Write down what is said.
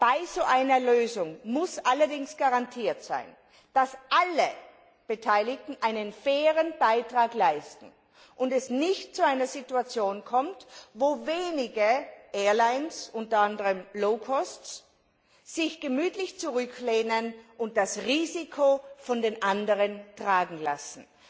Bei so einer Lösung muss allerdings garantiert sein, dass alle Beteiligten einen fairen Beitrag leisten und es nicht zu einer Situation kommt, wo wenige Fluglinien, unter anderem Low Cost Airlines sich gemütlich zurücklehnen und das Risiko von den anderen tragen lassen.